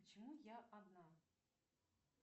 почему я одна